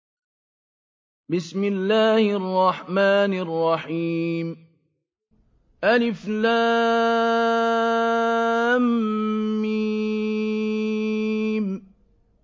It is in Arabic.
الم